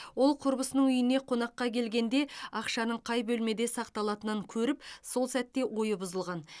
ол құрбысының үйіне қонаққа келгенде ақшаның қай бөлмеде сақталатынын көріп сол сәтте ойы бұзылған